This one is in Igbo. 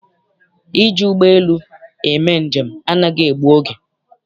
Iji ụgbọelu eme njem anaghị egbu oge.